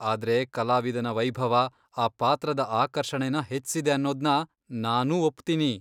ಆದ್ರೆ ಕಲಾವಿದನ ವೈಭವ, ಆ ಪಾತ್ರದ ಆಕರ್ಷಣೆನ ಹೆಚ್ಸಿದೆ ಅನ್ನೋದ್ನ ನಾನೂ ಒಪ್ತೀನಿ.